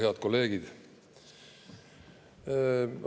Head kolleegid!